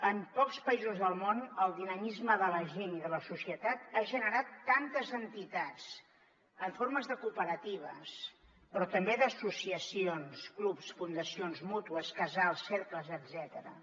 en pocs països del món el dinamisme de la gent i de la societat ha generat tantes entitats en forma de cooperatives però també d’associacions clubs fundacions mútues casals cercles etcètera